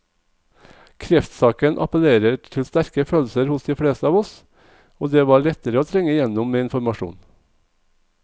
Kreftsaken appellerer til sterke følelser hos de fleste av oss, og det var lettere å trenge igjennom med informasjon.